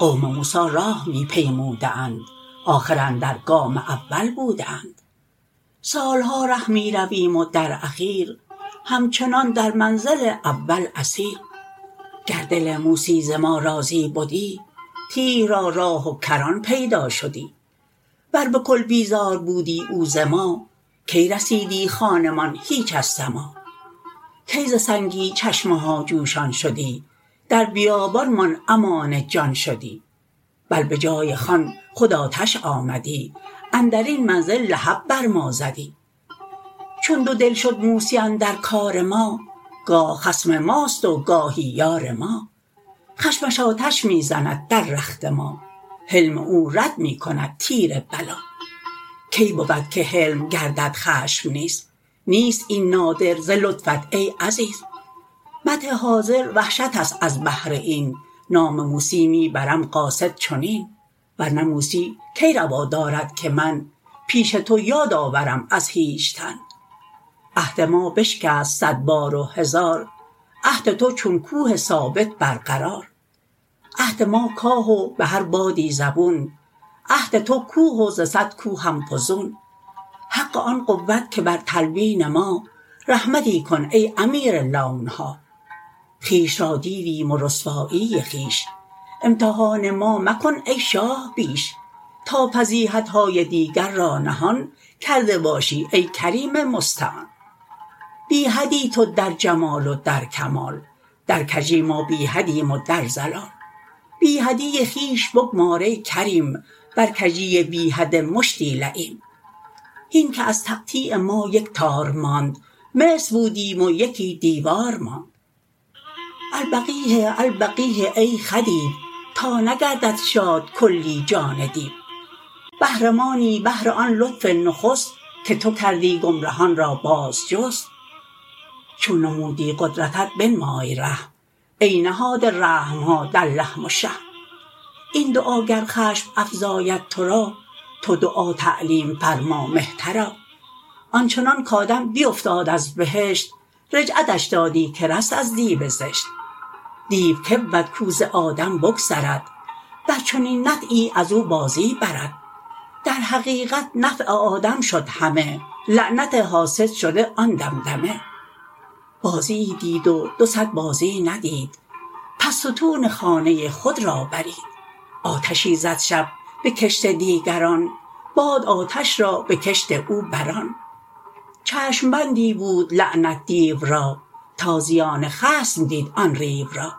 قوم موسی راه می پیموده اند آخر اندر گام اول بوده اند سالها ره می رویم و در اخیر همچنان در منزل اول اسیر گر دل موسی ز ما راضی بدی تیه را راه و کران پیدا شدی ور بکل بیزار بودی او ز ما کی رسیدی خوانمان هیچ از سما کی ز سنگی چشمه ها جوشان شدی در بیابان مان امان جان شدی بل به جای خوان خود آتش آمدی اندرین منزل لهب بر ما زدی چون دو دل شد موسی اندر کار ما گاه خصم ماست و گاهی یار ما خشمش آتش می زند در رخت ما حلم او رد می کند تیر بلا کی بود که حلم گردد خشم نیز نیست این نادر ز لطفت ای عزیز مدح حاضر وحشتست از بهر این نام موسی می برم قاصد چنین ورنه موسی کی روا دارد که من پیش تو یاد آورم از هیچ تن عهد ما بشکست صد بار و هزار عهد تو چون کوه ثابت بر قرار عهد ما کاه و به هر بادی زبون عهد تو کوه و ز صد که هم فزون حق آن قوت که بر تلوین ما رحمتی کن ای امیر لونها خویش را دیدیم و رسوایی خویش امتحان ما مکن ای شاه بیش تا فضیحتهای دیگر را نهان کرده باشی ای کریم مستعان بی حدی تو در جمال و در کمال در کژی ما بی حدیم و در ضلال بی حدی خویش بگمار ای کریم بر کژی بی حد مشتی لییم هین که از تقطیع ما یک تار ماند مصر بودیم و یکی دیوار ماند البقیه البقیه ای خدیو تا نگردد شاد کلی جان دیو بهر ما نی بهر آن لطف نخست که تو کردی گمرهان را باز جست چون نمودی قدرتت بنمای رحم ای نهاده رحمها در لحم و شحم این دعا گر خشم افزاید تو را تو دعا تعلیم فرما مهترا آنچنان کآدم بیفتاد از بهشت رجعتش دادی که رست از دیو زشت دیو کی بود کو ز آدم بگذرد بر چنین نطعی ازو بازی برد در حقیقت نفع آدم شد همه لعنت حاسد شده آن دمدمه بازیی دید و دو صد بازی ندید پس ستون خانه خود را برید آتشی زد شب بکشت دیگران باد آتش را بکشت او بران چشم بندی بود لعنت دیو را تا زیان خصم دید آن ریو را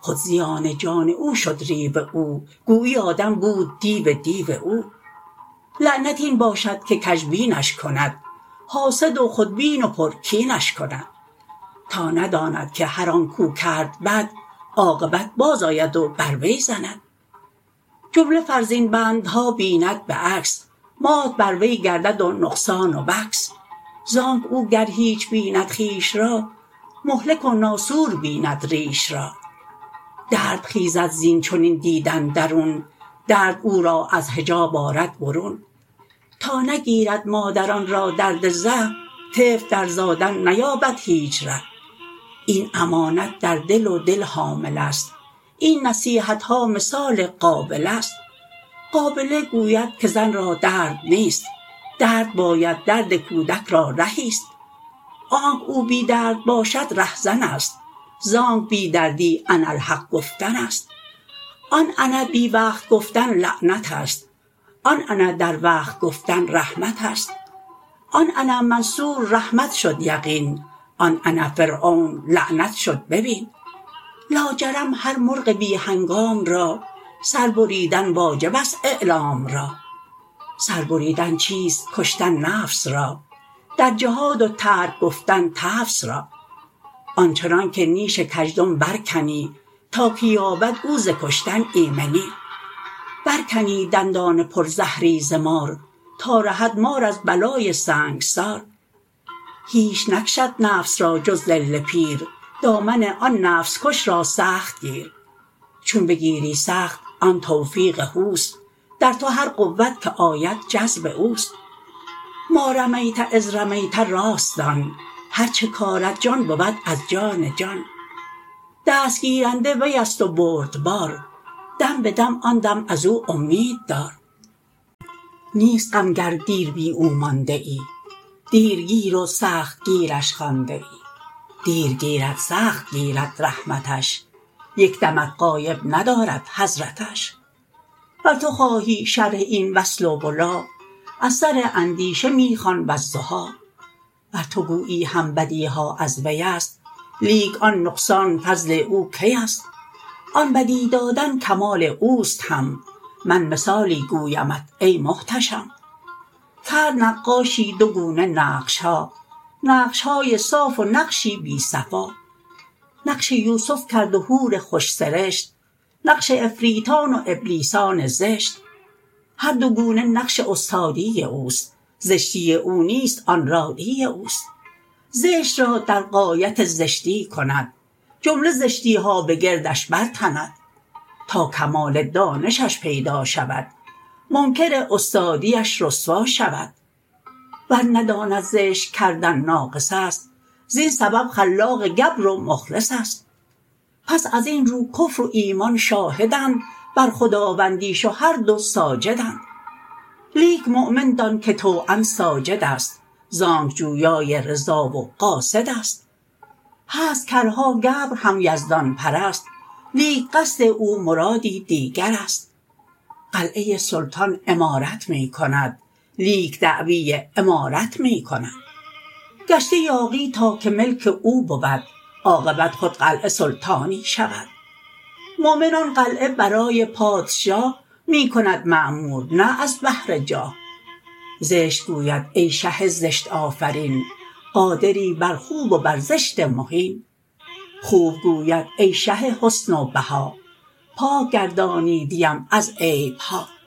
خود زیان جان او شد ریو او گویی آدم بود دیو دیو او لعنت این باشد که کژبینش کند حاسد و خودبین و پر کینش کند تا نداند که هر آنک کرد بد عاقبت باز آید و بر وی زند جمله فرزین بندها بیند بعکس مات بر وی گردد و نقصان و وکس زانک گر او هیچ بیند خویش را مهلک و ناسور بیند ریش را درد خیزد زین چنین دیدن درون درد او را از حجاب آرد برون تا نگیرد مادران را درد زه طفل در زادن نیابد هیچ ره این امانت در دل و دل حامله ست این نصیحتها مثال قابله ست قابله گوید که زن را درد نیست درد باید درد کودک را رهیست آنک او بی درد باشد ره زنست زانک بی دردی انا الحق گفتنست آن انا بی وقت گفتن لعنتست آن انا در وقت گفتن رحمتست آن انا منصور رحمت شد یقین آن انا فرعون لعنت شد ببین لاجرم هر مرغ بی هنگام را سر بریدن واجبست اعلام را سر بریدن چیست کشتن نفس را در جهاد و ترک گفتن تفس را آنچنانک نیش کزدم بر کنی تا که یابد او ز کشتن ایمنی بر کنی دندان پر زهری ز مار تا رهد مار از بلای سنگسار هیچ نکشد نفس را جز ظل پیر دامن آن نفس کش را سخت گیر چون بگیری سخت آن توفیق هوست در تو هر قوت که آید جذب اوست ما رمیت اذ رمیت راست دان هر چه کارد جان بود از جان جان دست گیرنده ویست و بردبار دم بدم آن دم ازو اومید دار نیست غم گر دیر بی او مانده ای دیرگیر و سخت گیرش خوانده ای دیر گیرد سخت گیرد رحمتش یک دمت غایب ندارد حضرتش ور تو خواهی شرح این وصل و ولا از سر اندیشه می خوان والضحی ور تو گویی هم بدیها از ویست لیک آن نقصان فضل او کیست آن بدی دادن کمال اوست هم من مثالی گویمت ای محتشم کرد نقاشی دو گونه نقشها نقشهای صاف و نقشی بی صفا نقش یوسف کرد و حور خوش سرشت نقش عفریتان و ابلیسان زشت هر دو گونه نقش استادی اوست زشتی او نیست آن رادی اوست زشت را در غایت زشتی کند جمله زشتیها به گردش بر تند تا کمال دانشش پیدا شود منکر استادیش رسوا شود ور نداند زشت کردن ناقص است زین سبب خلاق گبر و مخلص است پس ازین رو کفر و ایمان شاهدند بر خداوندیش و هر دو ساجدند لیک مؤمن دان که طوعا ساجدست زانک جویای رضا و قاصدست هست کرها گبر هم یزدان پرست لیک قصد او مرادی دیگرست قلعه سلطان عمارت می کند لیک دعوی امارت می کند گشته یاغی تا که ملک او بود عاقبت خود قلعه سلطانی شود مؤمن آن قلعه برای پادشاه می کند معمور نه از بهر جاه زشت گوید ای شه زشت آفرین قادری بر خوب و بر زشت مهین خوب گوید ای شه حسن و بها پاک گردانیدیم از عیبها